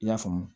I y'a faamu